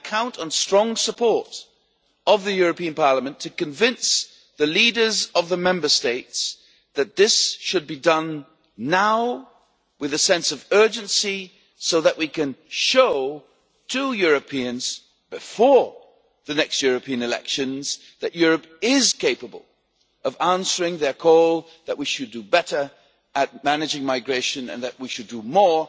I count on the strong support of the European Parliament to convince the leaders of the Member States that this should be done now, with a sense of urgency, so that we can show Europeans, before the next European elections, that Europe is capable of answering their call that we should do better at managing migration and that we should do more